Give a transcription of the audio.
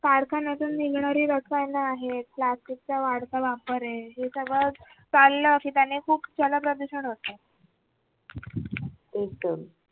कारखान्यातून निघणारी रसायन आहेत plastic चा वाढता वापर आहे हे सगळं चाललं की त्याने खूप जलप्रदूषण होत